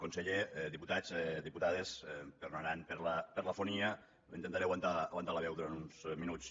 conseller diputats diputades em perdonaran per l’afonia intentaré aguantar la veu durant uns minuts